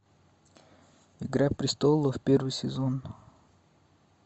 игра престолов первый сезон